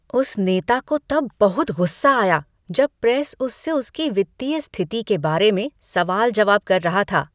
उस नेता को तब बहुत गुस्सा आया जब प्रेस उससे उसकी वित्तीय स्थिति के बारे में सवाल जवाब कर रहा था।